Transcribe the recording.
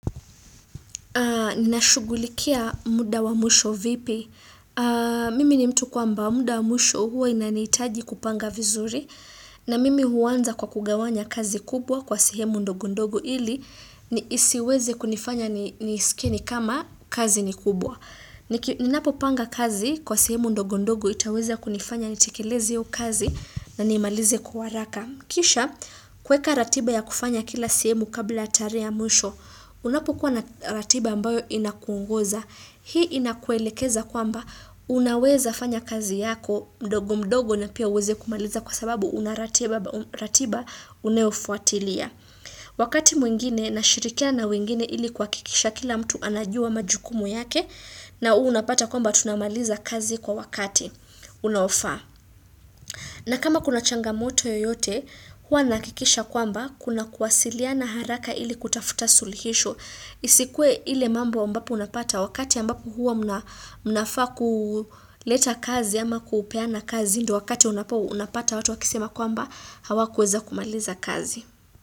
Ninashugulikia muda wa mwisho vipi, mimi ni mtu kuamba muda wa mwisho hua inanitaji kupanga vizuri na mimi huanza kwa kugawanya kazi kubwa kwa sehemu ndogondogo ili isiweze kunifanya niiske ni kama kazi ni kubwa. Ninapo panga kazi kwa sehemu ndogondogo itaweza kunifanya nitikileze hiyo kazi na niimalize kwa haraka. Kisha, kweka ratiba ya kufanya kila sehemu kabla ya terehe ya mwisho, unapukua na ratiba ambayo inakungoza. Hii inakuelekeza kwamba unaweza fanya kazi yako mdogo mdogo na pia uweze kumaliza kwa sababu unaratiba unayofuatilia. Wakati mwingine, nashirikiana na mwingine ili kwa kikisha kila mtu anajua majukumu yake na unapata kwamba tunamaliza kazi kwa wakati unaofaa. Na kama kuna changa moto yoyote, huwa nahakikisha kwamba kuna kuwasiliana haraka ili kutafuta suluhisho. Isikue ile mambo ambapo unapata wakati ambapo huwa mnafaa leta kazi ama kupeana kazi ndio wakati unapata watu wakisema kwamba hawakuweza kumaliza kazi.